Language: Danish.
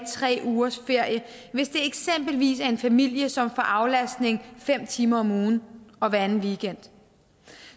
tre ugers ferie hvis det eksempelvis er en familie som får aflastning fem timer om ugen og hver anden weekend